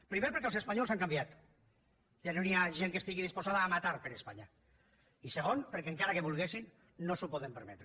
primer perquè els espanyols han canviat ja no hi ha gent que estigui disposada a matar per espanya i segon perquè encara que volguessin no s’ho poden permetre